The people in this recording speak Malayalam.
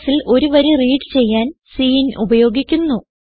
Cൽ ഒരു വരി റീഡ് ചെയ്യാൻ സിൻ ഉപയോഗിക്കുന്നു